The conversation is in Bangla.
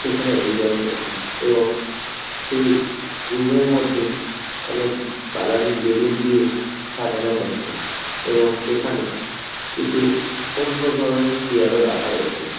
সেখানে এনজয় করছে এবং সেই রুমের মধ্যে অনেক কালারিং বেলুন দিয়ে সাজানো হয়েছে এবং সেখানে কিছু অন্য ধরণের চেয়ার -ও রাখা রয়েছে।